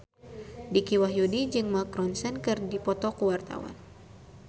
Dicky Wahyudi jeung Mark Ronson keur dipoto ku wartawan